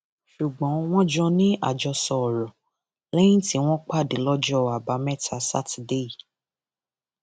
ṣùgbọn wọn jọ ní àjọsọ ọrọ léyìí tí wọn pàdé lọjọ àbámẹta sátidé yìí